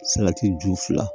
Salati ju fila